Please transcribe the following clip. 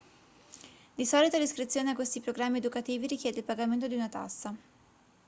di solito l'iscrizione a questi programmi educativi richiede il pagamento di una tassa